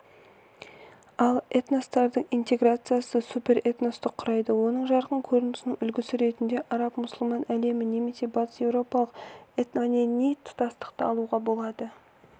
ал этностардың интеграциясы суперэтносты құрайды оның жарқын көрінісінің үлгісі ретіне арабмұсылман әлемін немесе батыс еуропалық этномәдени тұтастықты алуға болады